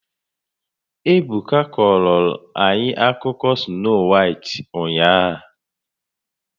Ebuka a kọrọla anyị akụkọ Snoo Waịt ụnyahụ